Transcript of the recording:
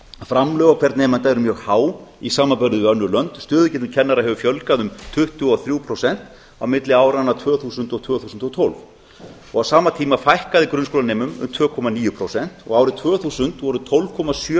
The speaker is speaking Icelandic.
framlög á hvern nemanda eru mjög há í samanburði við önnur lönd stöðugildum kennara hefur fjölgað um tuttugu og þrjú prósent á milli áranna tvö þúsund og tvö þúsund og tólf á sama tíma fækkaði grunnskólanemum um tvö komma níu prósent og árið tvö þúsund voru tólf komma sjö